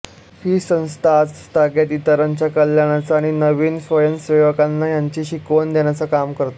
ही संस्था आजतागायत इतरांच्या कल्याणाचं आणि नवीन स्वयंसेवकांना ह्याची शिकवण देण्याचं काम करते